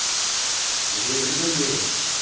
убери руки